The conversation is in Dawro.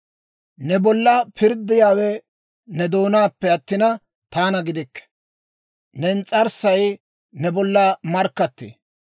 Ne bolla pirddiyaawe ne doonaappe attina, taana gidikke; ne ins's'arssay ne bolla markkattee.